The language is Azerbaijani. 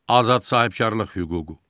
Azad sahibkarlıq hüququ.